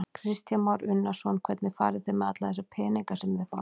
Kristján Már Unnarsson: Hvernig farið þið með alla þessa peninga sem þið fáið?